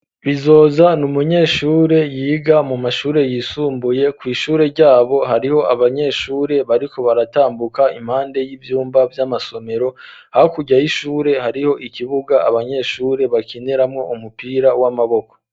Bizoza n'umunyeshure yiga mu mashure yisumbuye kw'ishure ryabo hariho abanyeshure bariko baratambuka impande y'ivyumba vy'amasomero hakurya y'ishure hariho ikibuga abanyeshure bakineramwo umupira w'amaboko